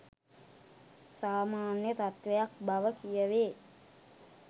සාමාන්‍ය තත්වයක් බව කියවේ